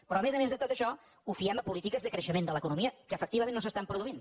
però a més a més de tot això ho fiem a polítiques de creixement de l’economia que efectivament no s’estan produint